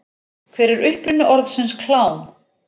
Hver er uppruni orðsins klám?